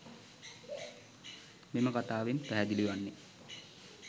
මෙම කතාවෙන් පැහැදිලි වන්නේ